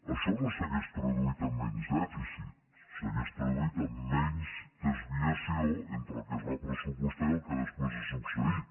això no s’hauria traduït en menys dèficit s’hauria traduït en menys desviació entre el que es va pressupostar i el que després ha succeït